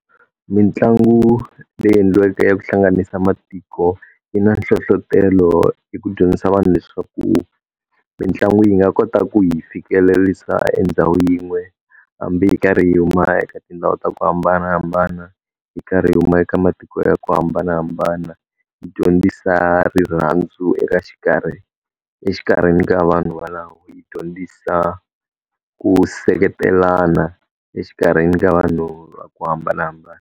Mitlangu leyi endliweke ya ku hlanganisa matiko yi na nhlohletelo hi ku dyondzisa vanhu leswaku, mitlangu yi nga kota ku hi fikelerisa endhawini yin'we, hambi hi karhi huma eka tindhawu ta ku hambanahambana hi karhi hi huma eka matiko ya ku hambanahambana, yi dyondzisa rirhandzu eka xikarhi exikarhini ka vanhu valavo. Yi dyondzisa ku seketelana exikarhini ka vanhu va ku hambanahambana.